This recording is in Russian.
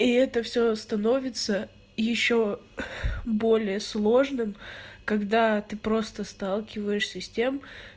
и это всё становится ещё более сложным когда ты просто сталкиваешься с тем